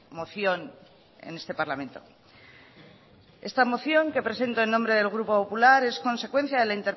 moción en este parlamento esta moción que presento en nombre del grupo popular es consecuencia de la